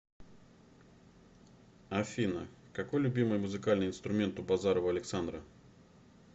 афина какой любимый музыкальный инструмент у базарова александра